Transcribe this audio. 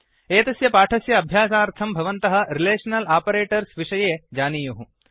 एतस्य पाठस्य अभ्यासार्थं भवन्तः रिलेषनल् आपरेटर्स् विषये जानीयुः